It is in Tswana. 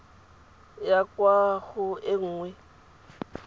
ya kwa go e nngwe